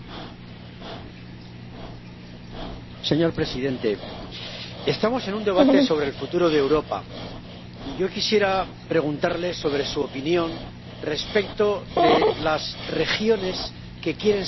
Señor presidente, estamos en un debate sobre el futuro de Europa, y yo quisiera preguntarle sobre su opinión respecto de las regiones que quieren ser nuevos Estados en Europa.